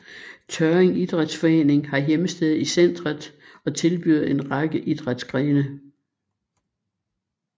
Tørring Idrætsforening har hjemsted i centret og tilbyder en række idrætsgrene